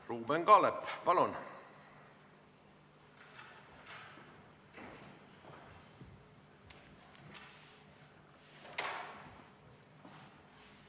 Ruuben Kaalep, palun!